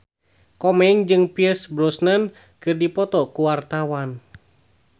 Komeng jeung Pierce Brosnan keur dipoto ku wartawan